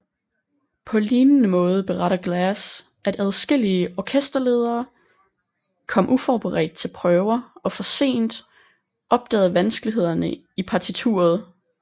På lignende måde beretter Glass at adskillige orkesterledere kom uforberedt til prøver og for sent opdagede vanskelighederne i partituret